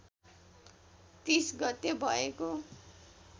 ३० गते भएको